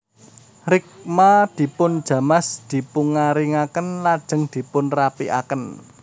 Rikma dipunjamas dipungaringaken lajeng dipunrapikaken